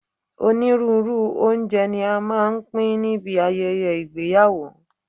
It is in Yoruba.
Onírúurú oúnjẹ ní a máa ń pín níbi ayẹyẹ ìgbéyàwó.